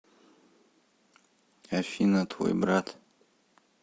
афина твой брат